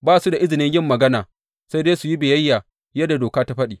Ba su da izinin yin magana, sai dai su yi biyayya yadda Doka ta faɗi.